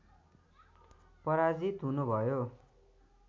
पराजित हुनुभयो